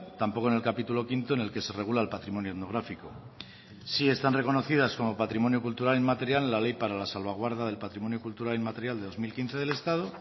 tampoco en el capítulo quinto en el que se regula el patrimonio etnográfico sí están reconocidas como patrimonio cultural inmaterial la ley para la salvaguarda del patrimonio cultural inmaterial del dos mil quince del estado